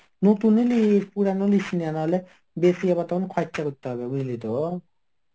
নতুন ই লিস পুরানো লিস নি আর না হলে বেশি আবার তখন খরচা করতে হবে বুঝলি তো?